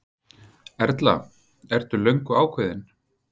Erla: Ertu löngu ákveðinn?